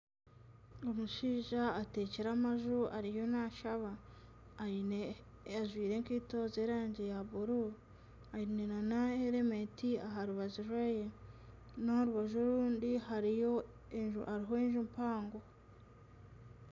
Omushaija atekire amaju ariyo nashaba ajwire enkeito z'erangi ya bururu. Aine na herementi. Aharubaju rweye, n'aharubaju orundi hariyo enju mpango.